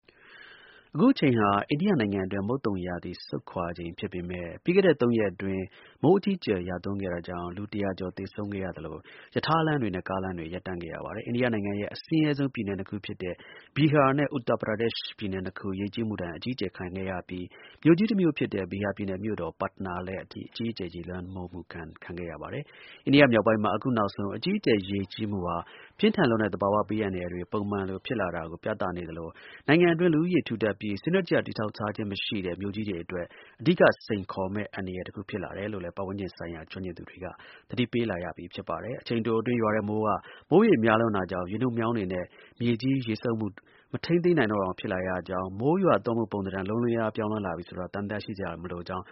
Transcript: အခုအချိန်ဟာ အိန္ဒိယနိုင်ငံအတွင်း မုတ်သုံရာသီ ဆုတ်ခွာချိန်ဖြစ်ပေမဲ့ ပြီးခဲ့တဲ့ ၃ ရက်အတွင်း မိုးအကြီးအကျယ် ရွာသွန်းခဲ့တာကြောင့် လူ ၁၀၀ ကျော် သေဆုံးခဲ့ရသလို ရထားလမ်းတွေနဲ့ ကားလမ်းတွေ ရပ်တန့်ခဲ့ရပါတယ်။ အိန္ဒိယနိုင်ငံရဲ့ အဆင်းရဲဆုံး ပြည်နယ် ၂ ခု ဖြစ်တဲ့ Bihar နဲ့ Uttar ပြည်နယ်နှစ်ခု ရေကြီးမှုဒဏ် အကြီးအကျယ်ခံခဲ့ရပြီး မြိုကြီး တစ်မြို့ဖြစ်တဲ့ ဘီဟာပြည်နယ်မြို့တော် Patna လည်း အကြီးအကျယ် ရေလွှမ်းမိုးဒဏ် ခံခဲ့ရပါတယ်။ အိန္ဒိယ မြောက်ပိုင်းမှာ အခု နောက်ဆုံး အကြီးအကျယ် ရေကြီးမှုဟာ ပြင်းထန်လွန်းတဲ့ သဘာ၀ ဘေးအန္တရာယ်တွေ ပုံမှန်လို ဖြစ်လာတာကို ပြသနေသလို နိုင်ငံအတွင်း လူဦးရေ ထူထပ်ပြီး စနစ်တကျ တည်ဆောက်ထားခြင်း မရှိတဲ့ မြို့ကြီးတွေအတွက် အဓိက စိန်ခေါ်မယ့် အန္တရာယ် တစ်ခု ဖြစ်လာတယ်လို့လည်း ပတ်ဝန်းကျင်ဆိုင်ရာ ကျွမ်းကျင်သူတွေက သတိပေး လာရပြီဖြစ်ပါတယ်။ အချိန်တိုအတွင်း ရွာတဲ့မိုးက မိုးရေများလွန်းတာကြောင့် ရေနုတ်မြောင်းတွေနဲ့ မြေကြီး ရေစုပ်ယူမှု မထိန်းနိုင်တော့အောင် ဖြစ်လာရကြောင်း မိုးရွာသွန်းမှု ပုံသဏ္ဍာန် လုံးလုံးလျားလျား ပြောင်းလဲလာပြီဆိုတာ သံသယ ရှိစရာ မလိုကြောင်း